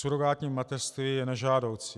Surogátní mateřství je nežádoucí,